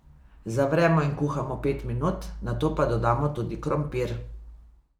Zavremo in kuhamo pet minut, nato pa dodamo tudi krompir.